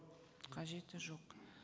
қажеті жоқ